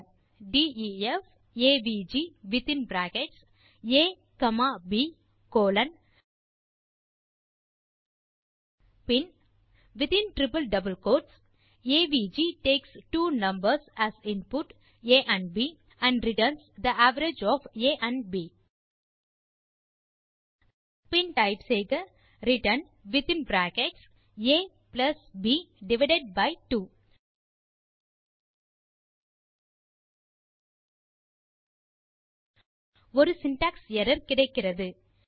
இப்போது டெர்மினல் லில் டைப் செய்க def AVG within bracket a comma b colon பின் in triple double quote type செய்க AVG takes two numbers as input a amp b and returns the average of a and b பின் type செய்க return return within bracket ab divided by 2 ஒரு syntax error கிடைக்கிறது